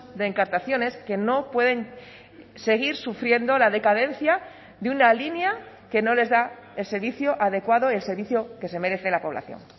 de encartaciones que no pueden seguir sufriendo la decadencia de una línea que no les da el servicio adecuado el servicio que se merece la población